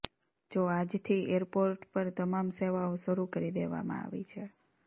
જો આજથી એરપોર્ટ પર તમામ સેવાઓ શરૂ કરી દેવામાં આવી છે